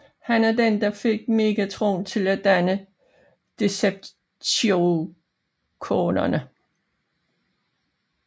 Han er den der fik Megatron til at danne Decepticonerne